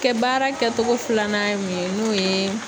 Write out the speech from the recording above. Kɛ baara kɛtogo filanan ye mun ye n'u yee